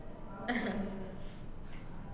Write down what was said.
ആഹ്